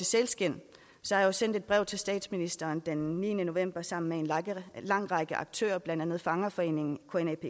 sælskind har jeg sendt et brev til statsministeren den niende november sammen med en lang lang række aktører blandt andet fangerforeningen